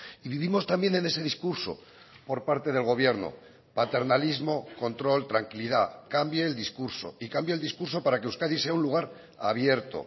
y vivimos también en ese discurso por parte del gobierno paternalismo control tranquilidad cambie el discurso y cambie el discurso para que euskadi sea un lugar abierto